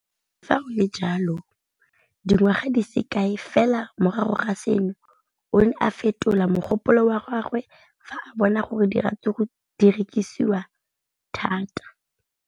Le fa go le jalo, dingwaga di se kae fela morago ga seno, o ne a fetola mogopolo wa gagwe fa a bona gore diratsuru di rekisiwa thata.